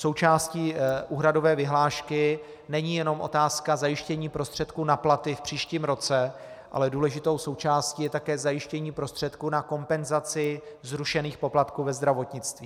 Součástí úhradové vyhlášky není jenom otázka zajištění prostředků na platy v příštím roce, ale důležitou součástí je také zajištění prostředků na kompenzaci zrušených poplatků ve zdravotnictví.